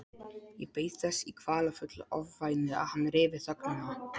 Ég beið þess í kvalafullu ofvæni að hann ryfi þögnina.